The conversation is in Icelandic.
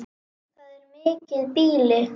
Það er mikið býli.